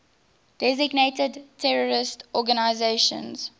designated terrorist organizations